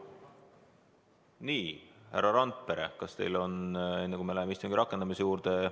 Nii, härra Randpere, kas teil on midagi öelda?